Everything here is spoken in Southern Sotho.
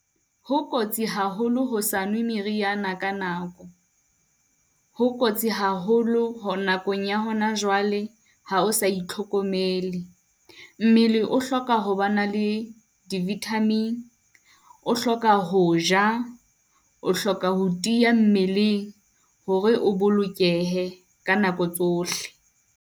Ho kotsi haholo ho sa nwe meriana ka nako, ho kotsi haholo ho nakong ya hona jwale ha o sa itlhokomele. Mmele o hloka ho ba na le di-vitamin. O hloka ho ja, o hloka ho tiya mmeleng hore o bolokehe ka nako tsohle.